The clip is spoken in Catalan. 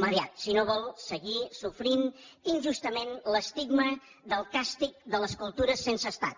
immediat si no vol seguir sofrint injustament l’estigma del càstig de les cultures sense estat